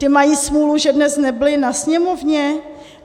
Ty mají smůlu, že dnes nebyly na Sněmovně?